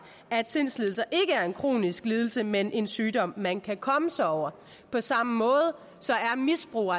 at sindslidelser ikke er en kronisk lidelse men en sygdom man kan komme sig over på samme måde er misbrug